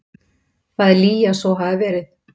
Það er lygi að svo hafi verið.